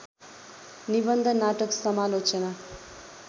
निबन्ध नाटक समालोचना